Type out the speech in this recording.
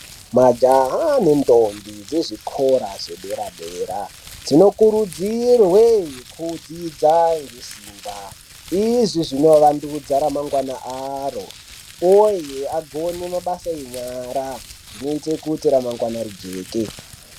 Majaha nendombi dzezvikora zvedera-dera dzinokurudzirwe kudzidza ngesimba. Izvi zvinovandudza ramangwana aro, uye agone mabasa enyara zvinoite kuti ramangwana rijeke.